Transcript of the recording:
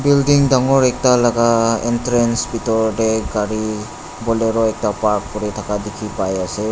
Building dangor ekta laga entrance bethor dae gari bolero ekta park kure thaka dekhi pai ase.